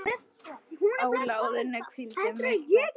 Á lóðinni hvíldu miklar kvaðir.